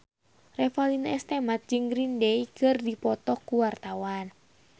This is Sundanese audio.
Revalina S. Temat jeung Green Day keur dipoto ku wartawan